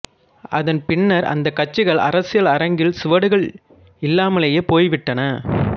அதன் பின்னர் அந்தக் கட்சிகள் அரசியல் அரங்கில் சுவடுகள் இல்லாமலேயே போய்விட்டன